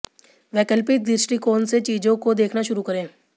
वैकल्पिक दृष्टिकोण से चीजों को देखना शुरू करें